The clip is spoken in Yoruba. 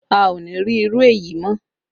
A o ní rí irú èyí mọ́